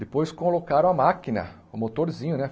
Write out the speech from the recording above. Depois colocaram a máquina, o motorzinho, né?